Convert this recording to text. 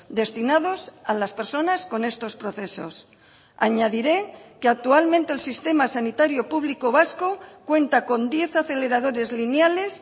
destinados a las personas con estos procesos añadiré que actualmente el sistema sanitario público vasco cuenta con diez aceleradores lineales